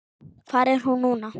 Hvar er hún núna?